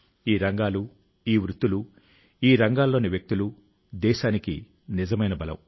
ఈ రంగాలు ఈ వృత్తులు ఈ రంగాల్లోని వ్యక్తులు దేశానికి నిజమైన బలం